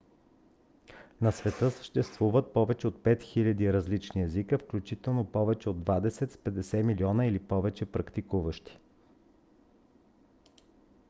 на света съществуват повече от 5000 различни езика включително повече от двадесет с 50 милиона или повече практикуващи